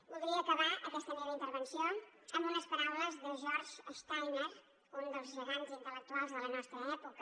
voldria acabar aquesta meva intervenció amb unes paraules de george steiner un dels gegants intel·lectuals de la nostra època